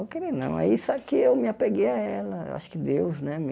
Vou querer não aí só que eu me apeguei a ela. Eu acho que Deus né me